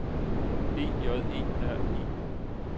E J E R E